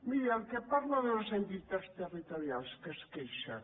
miri parla de les entitats territorials de què es queixen